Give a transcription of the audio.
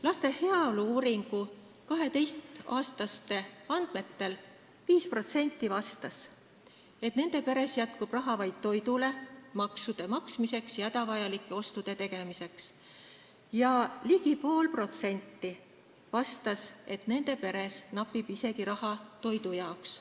Laste heaolu uuringu andmetel vastas 5% 12-aastastest, et nende peres jätkub raha vaid toidule, maksude maksmiseks ja hädavajalike ostude tegemiseks, ning ligi 0,5% vastas, et nende peres napib raha isegi toidu jaoks.